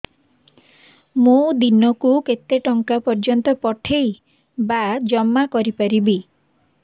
ମୁ ଦିନକୁ କେତେ ଟଙ୍କା ପର୍ଯ୍ୟନ୍ତ ପଠେଇ ବା ଜମା କରି ପାରିବି